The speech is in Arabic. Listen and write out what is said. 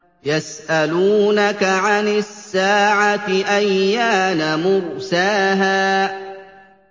يَسْأَلُونَكَ عَنِ السَّاعَةِ أَيَّانَ مُرْسَاهَا